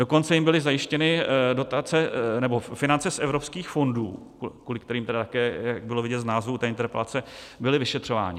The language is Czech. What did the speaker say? Dokonce jim byly zajištěny finance z evropských fondů, kvůli kterým také, jak bylo vidět z názvu té interpelace, byli vyšetřováni.